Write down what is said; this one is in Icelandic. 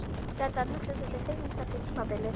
Gæti hann hugsað sér til hreyfings eftir tímabilið?